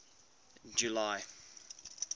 july